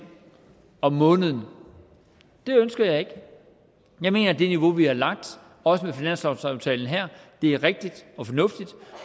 om måneden det ønsker jeg ikke jeg mener at det niveau vi har lagt også med finanslovsaftalen her er rigtigt og fornuftigt